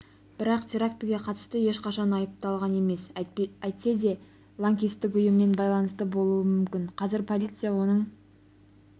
бірақ терактіге қатысты ешқашан айыпталған емес әйтсе де лаңкестік ұйыммен байланысы болуы мүмкін қазір полиция оның